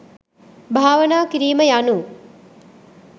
භාවනා කිරීම යනු